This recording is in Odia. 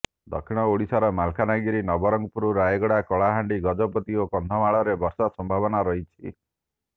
ଦକ୍ଷିଣ ଓଡିଶାର ମାଲକାନଗିରି ନବରଙ୍ଗପୁର ରାୟଗଡା କଳାହାଣ୍ଡି ଗଜପତି ଓ କନ୍ଧମାଳରେ ବର୍ଷା ସମ୍ଭାବନା ରହିଛି